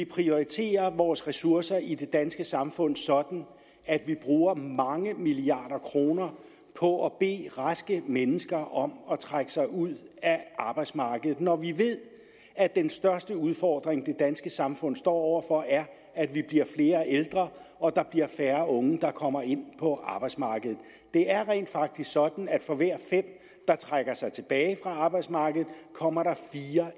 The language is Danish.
prioritere vores ressourcer i det danske samfund sådan at vi bruger mange milliarder kroner på at bede raske mennesker om at trække sig ud af arbejdsmarkedet når vi ved at den største udfordring det danske samfund står over for er at vi bliver flere ældre og at der bliver færre unge der kommer ind på arbejdsmarkedet det er rent faktisk sådan at for hver fem der trækker sig tilbage fra arbejdsmarkedet kommer der fire